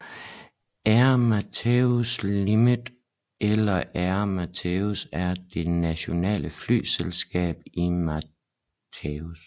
Air Mauritius Limited eller Air Mauritius er det nationale flyselskab i Mauritius